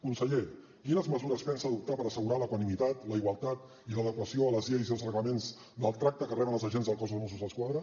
conseller quines mesures pensa adoptar per assegurar l’equanimitat la igualtat i l’adequació a les lleis i els reglaments del tracte que reben els agents del cos de mossos d’esquadra